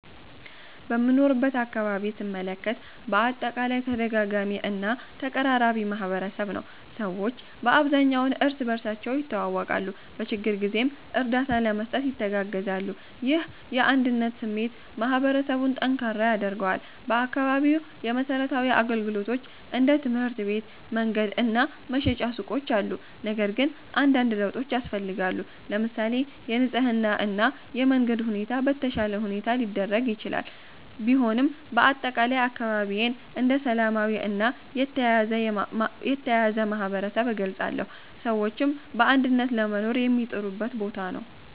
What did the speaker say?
በምኖርበት አካባቢ ስመለከት በአጠቃላይ ተደጋጋሚ እና ተቀራራቢ ማህበረሰብ ነው። ሰዎች በአብዛኛው እርስ በርሳቸው ይተዋወቃሉ፣ በችግር ጊዜም እርዳታ ለመስጠት ይተጋገዛሉ። ይህ የአንድነት ስሜት ማህበረሰቡን ጠንካራ ያደርገዋል። በአካባቢው የመሠረታዊ አገልግሎቶች እንደ ትምህርት ቤት፣ መንገድ እና መሸጫ ሱቆች አሉ፣ ነገር ግን አንዳንድ ለውጦች ያስፈልጋሉ። ለምሳሌ የንጽህና እና የመንገድ ሁኔታ በተሻለ ሁኔታ ሊደረግ ይችላል። ቢሆንም በአጠቃላይ አካባቢዬን እንደ ሰላማዊ እና የተያያዘ ማህበረሰብ እገልጻለሁ፣ ሰዎችም በአንድነት ለመኖር የሚጥሩበት ቦታ ነው።